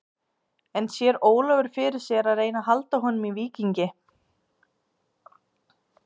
En sér Ólafur fyrir sér að reyna að halda honum í Víkingi?